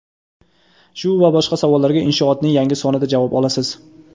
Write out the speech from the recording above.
Shu va boshqa savollarga Inshoot’ning yangi sonida javob olasiz.